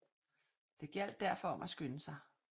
Det gjaldt derfor om at skynde sig